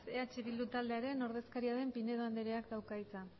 eh bilduren taldearen ordezkaria den pinedo andreak dauka hitza